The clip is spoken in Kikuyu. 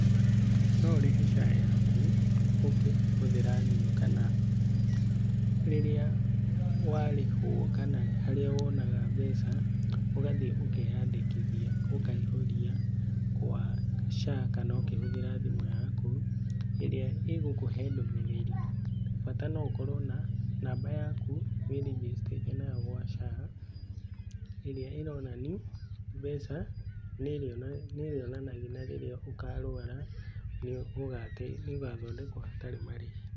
No ũrĩhe SHA yaku ũkĩhuthĩra thimũ kana rĩrĩa warĩhwo kana haria wonaga mbeca ũgathie ũkenyandĩkithia ũkaihũria kwa SHA kana kũhũthĩra thimũ yaku, ĩrĩa ĩgũkũhe ndũmĩrĩri bata no ũkorwo na namba yaku wĩrĩnjĩstete nayo gwa SHA ĩrĩa ĩronania mbeca na rĩrĩa ũkarwara nĩũgathondekwo hatarĩ marĩhi.